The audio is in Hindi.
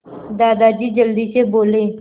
दादाजी जल्दी से बोले